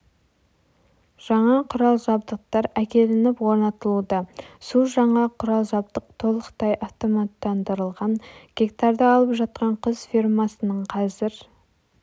жаңа құрал-жабдықтар әкелініп орнатылуда су жаңа құрал-жабдық толықтай автоматтандырылған гектарды алып жатқан құс фермасының қазір